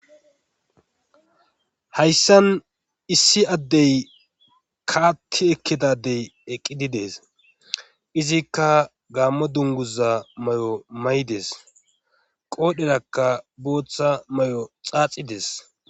hayssan issi addey kaatti ekkidadey eqqididees izikka gaammo dunguza may7o may7des qoodherakka booththa may7o xaaxides